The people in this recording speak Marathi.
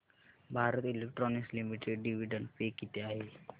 Bharat Electronics Limited dividend pay किती आहे